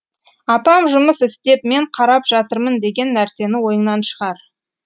апам жұмыс істеп мен қарап жатырмын деген нәрсені ойыңнан шығар